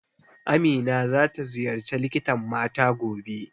Amina za ta ziyarci likitan mata gobe